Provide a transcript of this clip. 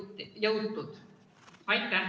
Aitäh!